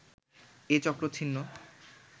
এ চক্র ছিন্ন